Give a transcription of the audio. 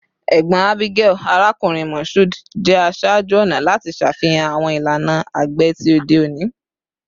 Egbon Abigail, Arakunrin Mashood, jẹ aṣaaju-ọna lati ṣafihan awọn ilana agbe ti ode oni